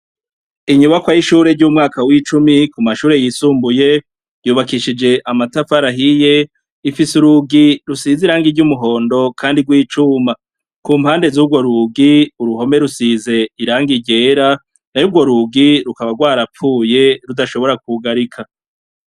Inyubako y'ishure ry'umwaka w'icumi ku mashure yisumbuye yubakishije amatafarahiye ifise urugi rusize irange iryo umuhondo, kandi rwo icuma ku mpande z'urwo rugi uruhome rusize irang iryera na yourwo rugi rukaba rwarapfuye rudashobora kwugarika.